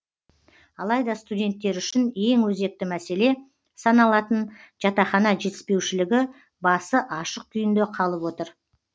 алайда студенттер үшін ең өзекті мәселе саналатын жатақхана жетіспеушілігі басы ашық күйінде қалып отыр